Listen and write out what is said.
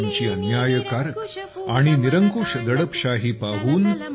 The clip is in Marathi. इंग्रजांच्या अन्यायकारक आणि निरंकुश दडपशाही पाहून